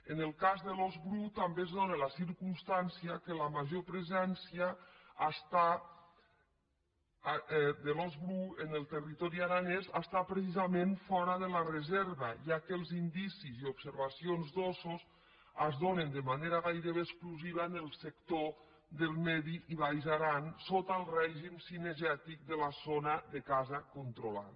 en el cas de l’ós bru també es dóna la circumstància que la major presència de l’ós bru en el territori aranès està precisament fora de la reserva ja que els indicis i les observacions d’óssos es donen de manera gairebé exclusiva en el sector del mig i baix aran sota el rè·gim cinegètic de la zona de caça controlada